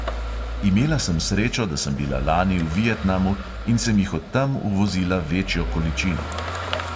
Imela sem srečo, da sem bila lani v vietnamu in sem jih od tam uvozila večjo količino.